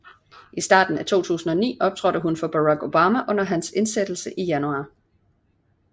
I starten af 2009 optrådte hun for Barack Obama under hans indsættelse i januar